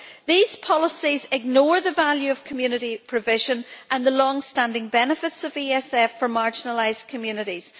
These policies ignore the value of community provision and the long standing benefits of the ESF for marginalised communities.